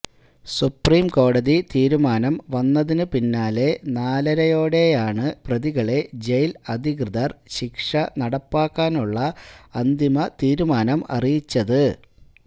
supreme കോടതി തീരുമാനം വന്നതിനു പിന്നാലെ നാലരയോടെയാണ് പ്രതികളെ ജയില് അധികൃതര് ശിക്ഷ നടപ്പാക്കാനുള്ള അന്തിമ തീരുമാനം അറിയിച്ചത്